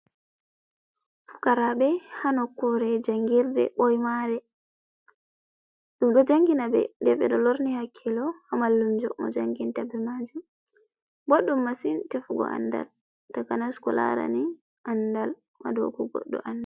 Fukaraɓe, ha nokkure jangirde ɓoy maare, be do jangina ɓe den ɓedo lorni hakkilo ha mallumjo mo jangintaɓɓe maajum boɗɗum masin tefugo andal takanas kulaarani andal maajum.